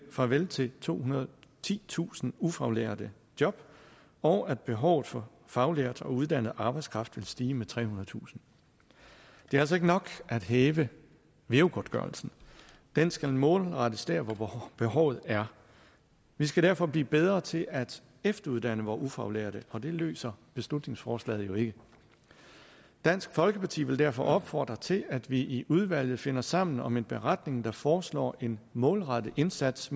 farvel til tohundrede og titusind ufaglærte job og at behovet for faglært og uddannet arbejdskraft vil stige med trehundredetusind det er altså ikke nok at hæve veu godtgørelsen den skal målrettes der hvor behovet er vi skal derfor blive bedre til at efteruddanne vore ufaglærte og det løser beslutningsforslaget jo ikke dansk folkeparti vil derfor opfordre til at vi i udvalget finder sammen om en beretning der foreslår en målrettet indsats